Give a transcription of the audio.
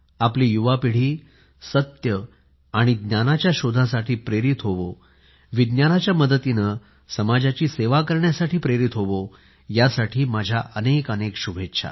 आपली युवा पिढी सत्य आणि ज्ञानाच्या शोधासाठी प्रेरित होवो विज्ञानाच्या मदतीने समाजाची सेवा करण्यासाठी प्रेरित होवो यासाठी माझ्या अनेक अनेक शुभेच्छा